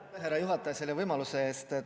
Aitäh, härra juhataja, selle võimaluse eest!